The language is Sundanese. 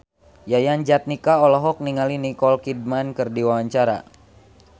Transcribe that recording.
Yayan Jatnika olohok ningali Nicole Kidman keur diwawancara